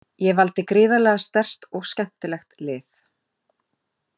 Ég valdi gríðarlega sterkt og skemmtilegt lið.